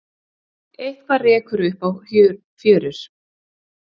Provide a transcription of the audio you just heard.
Eitthað rekur upp á fjörur